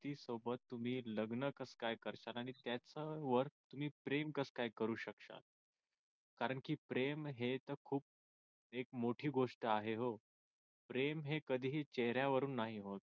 व्यक्तीसोबत तुम्ही लग्न कसकाय करता मी त्याच्या वर तुम्ही प्रेम कसकाय करू शकता कारंकी प्रेम हे तर खूप मोठी गोष्ट आहे व प्रेम हे कधी चेहऱ्यावरून नाही होत